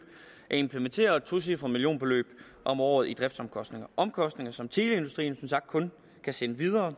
at implementere og et tocifret millionbeløb om året i driftsomkostninger det omkostninger som teleindustrien som sagt kun kan sende videre